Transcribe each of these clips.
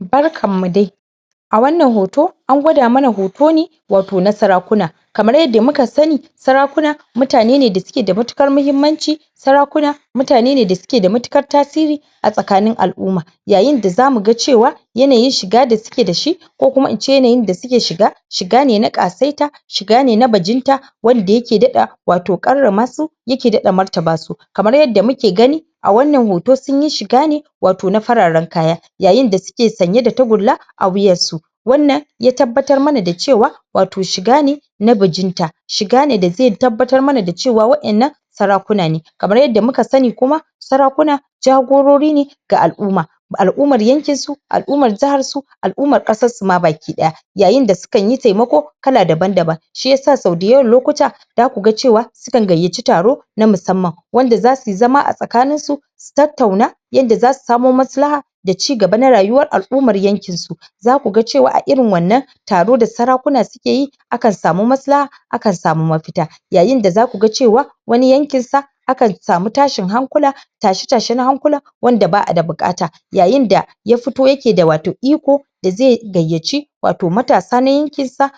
Barkan mu dai a wannan hoto an gwada mana hoto ne wato na sarakuna kamar yada muka sani sarakuna mutane ne, da suke da matukar mahimanci sarakuna mutane ne, da suke da matukar tasiri a tsakanin al'uma yayin da za mu gan cewa yanayin shiga da suke da shi ko kuma in ce ne, yada suke shiga shiga ne na qatsaita shiga ne na bajinta wande yake dadda wato karamma su yake dadda martaba su kamar yada muke gani a wannan hoto, sun yi shiga ne wato na fararen kaya yayin da suke sanye da tagulla a wuyan su wannan ya tabatar mana da cewa wato shiga ne na bijinta shiga ne da zai tabatar mana da cewa wa'en nan sarakuna ne kamar yada muka sani kuma sarakuna jagurori ga al'uma ba al'umar yanke su al'umar jahar su al'umar qasar su ma bakidaya yayin da sun kan yi taimako kala daban daban shiyasa so dayawon lokuta za ku gan cewa su kan gayaci taro na masamman wanda za su yi zama a tsakanin su su tattauna yada za su samo masu laha da cigaba na rayuwa al'umar yankin su za ku gan cewa a irin wannan taro da sarakuna su ke yi a kan samu massla a kan samu mafita yayin da zaku gan cewa wani yankin sa a kan samu tashin hankula tashe tashe na hankula wanda ba a da bukata yayin da ya fito, ya ke da wato iko da zai gayaci wato matasa na yankin sa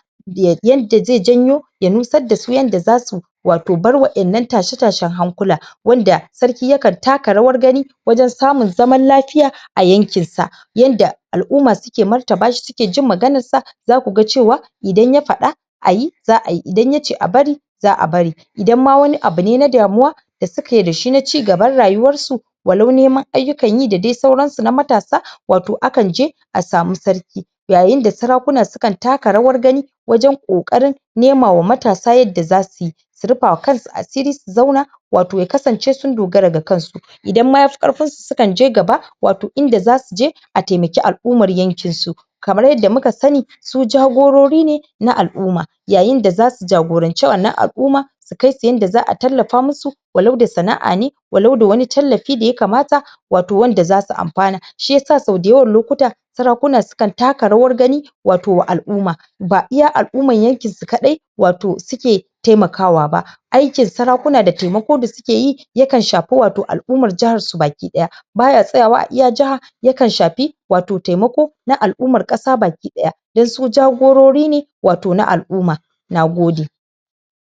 yada zai janyo ya nussa da su yada za su wato bar wa'en nan tashe tashen hankula wanda sarki ya kan, taka rawar gani wajen samun zaman lafiya a yankin sa yada al'uma su ke martaba shi, su ke jin maganan sa za ku gan cewa idan ya fada ayi za a yi, idan ya ce a bari za'a bari idan ma wani abu ne na damuwa da su ke da shi na cigaban rayuwan su wallo niman ayukan yi, da dai sauran su na matasa wato a kan je a samu sarki yayin da sarakuna su kan taka rawar gani wajen kokarin nema wa matasa yada za su yi su rufa wa kan su asiri, su zauna wato ya kasance, sun dogara ga kan su idan ma ya fi karfin su, su kan je gaba wato inda za su je a taimake al'umar yankin su kamar yada muka sani su jagurori ne na al'uma yayin da za su jagorance wannan al'uma su kai su yada za a talafa masu wallo da sana'a ne wallo da wani talafi da ya kamata wato wanda za su amfana shiyasa so dayawan lokuta sarakuna su kan taka rawar gani wato al'uma ba iya al'uman yankin su kadai wato su ke taimakawa ba aikin sarakuna da taimako da su ke yi ya kan shafi wato al'umar jahar su bakidaya ba ya tsaya wa a iya jahar ya kan shafi wato taimako na al'uman qasa bakidaya dan su jagurori ne wato na al'uma na gode